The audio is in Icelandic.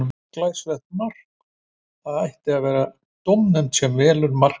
Leikmaður skorar glæsilegt mark og það gæti verið dómnefnd sem velur mark helgarinnar.